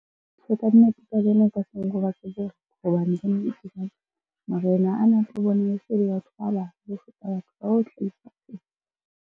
Hobane marena ana a tlo bona e se le batho ba ho feta .